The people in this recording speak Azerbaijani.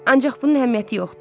Ancaq bunun əhəmiyyəti yoxdur.